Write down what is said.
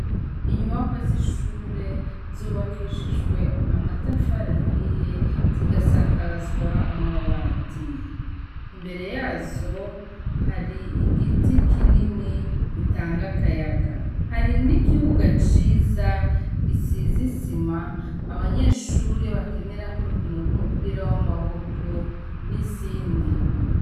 Inyuwaka z'ishure zubakishijwe amatafarahiye zigasakazwa amabati, imbere yazo hari igiti kinini gitanga akayaga, hari n'ikibuga ciza gisizisima abanyeshuri bakenerako urukino rw'umupira w'amaboko n'izindi.